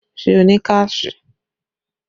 Ṣé o ní káàṣì?